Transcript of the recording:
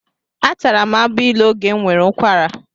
Atara m agbailu oge m nwere ụkwara.